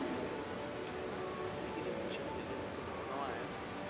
ਹਾਂ ਲੇਕਿੰਨ ly ਜਦੋਂ ਮੇਰੇ ਕੋਲ ਨਵਾਂ ਨਵਾਂ ਆਇਆ ਸੀ,